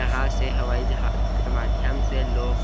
यहाँ से हवाईजहाज के माध्यम से लोग--